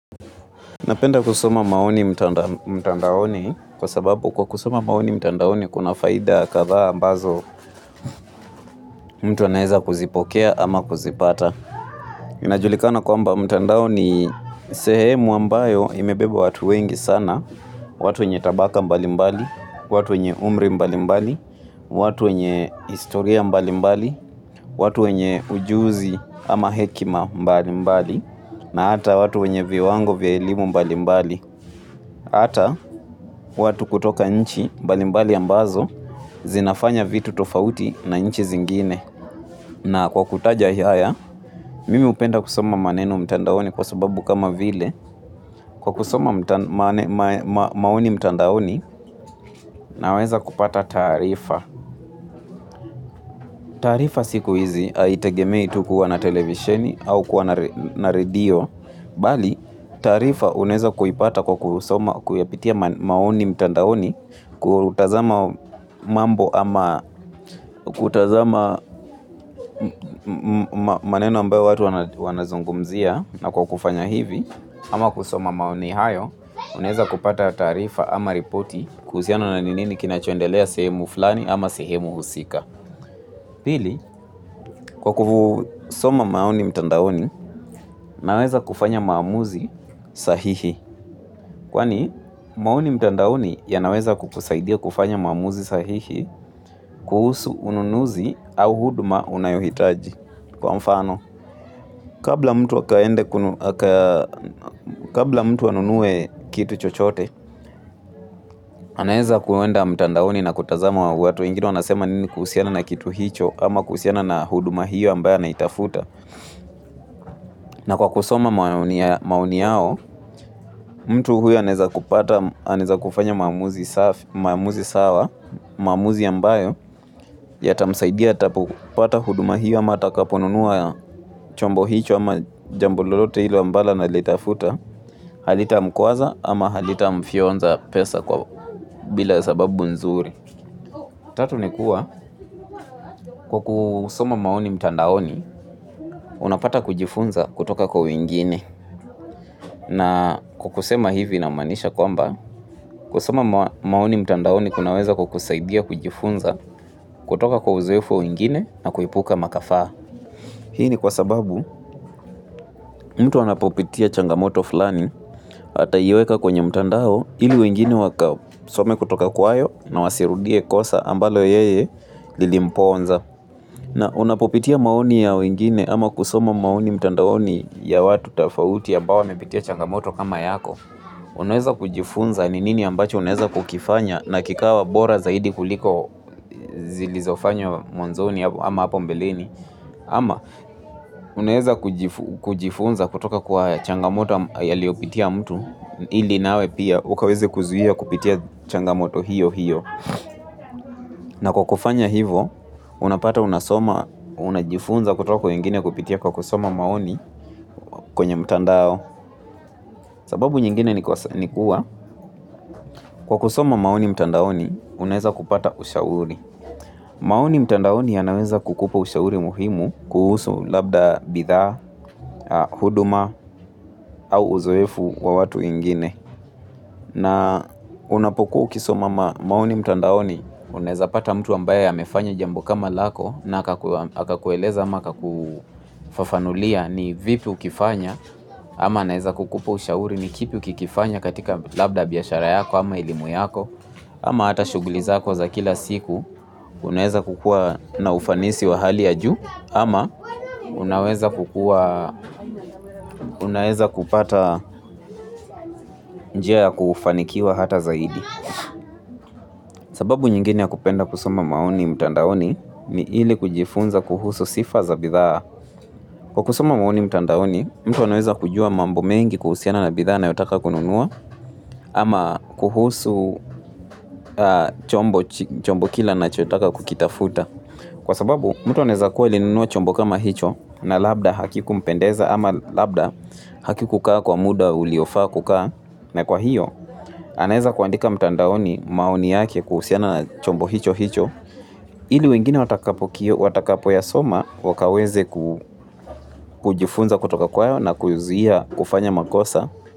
Napenda kusoma maoni mtandaoni kwa sababu kwa kusoma maoni mtandaoni kuna faida kadha ambazo mtu anaeza kuzipokea ama kuzipata. Inajulikana kwa mba mtandaoni sehemu ambayo imebeba watu wengi sana, watu wenye tabaka mbali mbali, watu wenye umri mbali mbali, watu wenye historia mbali mbali, watu wenye ujuzi ama hekima mbali mbali, na hata watu wenye viwango vya elimu mbali mbali. Ata, watu kutoka nchi, mbalimbali ambazo, zinafanya vitu tofauti na nchi zingine. Na kwa kutaja hiaya, mimi upenda kusoma maneno mtandaoni kwa sababu kama vile. Kwa kusoma maoni mtandaoni, naweza kupata tarifa. Tarifa siku hizi, haitegemei tukuwa na televisheni au kuwa na radio. Bali tarifa uneza kuipata kwa kusoma kuyapitia maoni mtandaoni kutazama mambo ama kutazama maneno ambayo watu wanazungumzia na kwa kufanya hivi ama kusoma maoni hayo uneza kupata tarifa ama ripoti kuziano na ninini kinachondelea sehemu fulani ama sehemu usika. Pili, kwa kufu soma maoni mtandaoni, naweza kufanya maamuzi sahihi. Kwani, maoni mtandaoni yanaweza kukusaidia kufanya maamuzi sahihi, kuhusu ununuzi au huduma unayohitaji. Kwa mfano, kabla mtu anunue kitu chochote, anaweza kuwenda mtandaoni na kutazama wa watu. Wengine wanasema nini kuhusiana na kitu hicho ama kuhusiana na huduma hiyo ambayo anaitafuta. Na kwa kusoma maoni yao, mtu huyu aneza kupata, aneza kufanya maamuzi sawa, maamuzi ambayo, ya ta msaidia, ta pupata huduma hiyo ama ta kaponunua ya chombo hicho ama jambulolote hilo ambalo analitafuta, halita mkuaza ama halita mfionza pesa kwa bila sababu nzuri. Tatu ni kuwa kwa kusoma maoni mtandaoni unapata kujifunza kutoka kwa wengine na kwa kusema hivi namanisha kwamba kusoma maoni mtandaoni kunaweza kukusaidia kujifunza kutoka kwa uzoefu wingine na kuipuka makafaa. Hii ni kwa sababu mtu anapopitia changamoto fulani hata iweka kwenye mtandao ili wengini wakao some kutoka kwayo na wasirudie kosa ambalo yeye lilimponza. Na unapopitia maoni ya wengini ama kusoma maoni mtandaoni ya watu tafauti ambawo wamepitia changamoto kama yako. Unaweza kujifunza ni nini ambacho unaweza kukifanya na kikawa bora zaidi kuliko zilizofanywa mwanzoni ama hapo mbeleni. Ama, unaeza kujifunza kutoka kwa changamoto yaliopitia mtu, ili nawe pia, ukaweze kuzuhia kupitia changamoto hiyo hiyo. Na kwa kufanya hivo, unapata unasoma, unajifunza kutoka kwa wengine kupitia kwa kusoma maoni kwenye mtandao. Sababu nyingine ni kuwa, kwa kusoma maoni mtandaoni, unaeza kupata ushauri. Maoni mtandaoni yanaweza kukupa ushauri muhimu kuhusu labda bidhaa, huduma au uzoefu wa watu wengine. Na unapokuo ukisoma maoni mtandaoni. Unaeza pata mtu ambaye amefanya jambo kama lako na haka kueleza hama haka kufafanulia ni vipi ukifanya. Ama naeza kukupa ushauri ni kipi ukifanya katika labda biashara yako ama elimu yako. Ama hata shuguliza kwa za kila siku, unaweza kukua na ufanisi wa hali ya juu, ama unaweza kupata njia ya kufanikiwa hata zaidi. Sababu nyingine ya kupenda kusoma maoni mtandaoni, ni hili kujifunza kuhusu sifa za bithaa. Kwa kusoma maoni mtandaoni, mtu anaweza kujua mambo mengi kuhusiana na bithaa anayotaka kununua, ama kuhusu chombo kila anachotaka kukitafuta. Kwa sababu mtu anaweza kuwa alinunua chombo kama hicho na labda hakiku mpendeza ama labda haki kukaa kwa muda uliofa kukaa na kwa hiyo anaweza kuandika mtandaoni maoni yake kuhusiana na chombo hicho hicho. Ili wengine watakapo kio watakapo soma wakaweze kujifunza kutoka kwayo na kuizuia kufanya makosa.